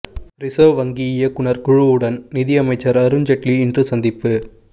reserve வங்கி இயக்குநர் குழுவுடன் நிதி அமைச்சர் அருண் ஜேட்லி இன்று சந்திப்பு